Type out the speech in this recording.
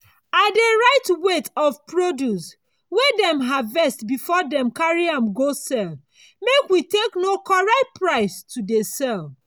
i dey write weight of produce wey dem harvest before dem carry am go sell make we take know correct price to dey sell.